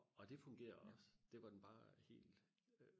og det fungerede også det var den bare helt